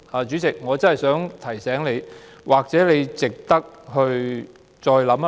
主席，我真的想提醒你，或許你值得再考慮。